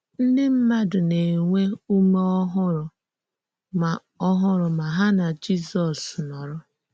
Ndị mmádụ na-ènwè ǔmé ọ̀húrụ̀ mà ọ̀húrụ̀ mà hà na Jízọ́s nọ́rọ̀.